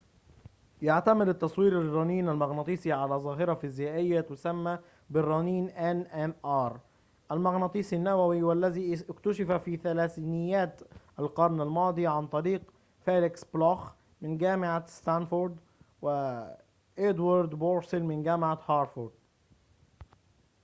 يعتمد التصوير بالرنين المغناطيسي على ظاهرة فيزيائية تسمى الرنين المغناطيسي النووي nmr، والتي اكتشفت في ثلاثينيات القرن الماضي عن طريق فيليكس بلوخ من جامعة ستانفورد وإدوارد بورسيل من جامعة هارفارد